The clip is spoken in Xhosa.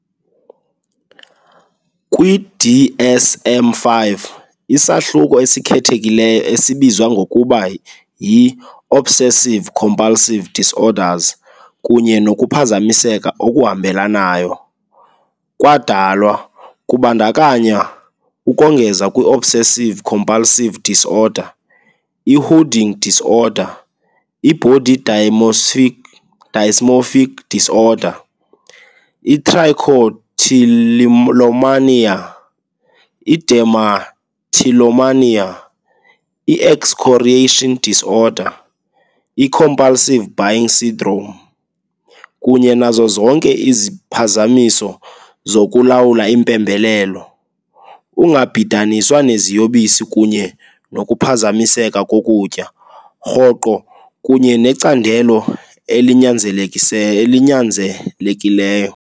Kwi-DSM-5, isahluko esikhethekileyo esibizwa ngokuba yi "-Obsessive-compulsive disorders kunye nokuphazamiseka okuhambelanayo" kwadalwa, kubandakanywa ukongeza kwi-obsessive-compulsive disorder, i-hoarding disorder, i-body dysmorphic disorder, i-trichotillomania, i-dermatillomania, i-excoriation disorder, i-compulsive buying syndrome. kunye nazo zonke iziphazamiso zokulawula impembelelo, ungabhidaniswa neziyobisi kunye nokuphazamiseka kokutya, rhoqo kunye necandelo elinyanzelekileyo.